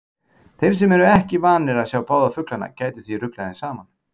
Þeir sem ekki eru vanir að sjá báða fuglana gætu því ruglað þeim saman.